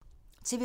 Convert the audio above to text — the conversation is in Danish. TV 2